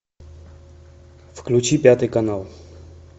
включи пятый канал